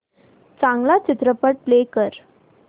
चांगला चित्रपट प्ले कर